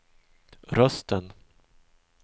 rösten